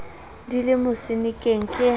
di le mosenekeng ke ha